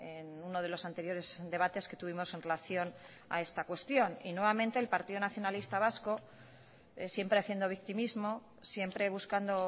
en uno de los anteriores debates que tuvimos en relación a esta cuestión y nuevamente el partido nacionalista vasco siempre haciendo victimismo siempre buscando